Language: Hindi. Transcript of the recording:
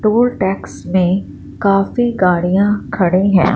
टोल टैक्स में काफी गाड़ियां खड़ी हैं।